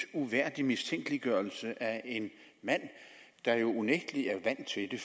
uværdig mistænkeliggørelse af en mand der jo unægtelig er vant til det